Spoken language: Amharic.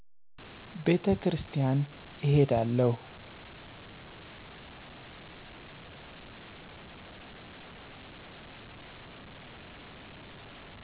ቤተክርስቲያን እሄዳለሁ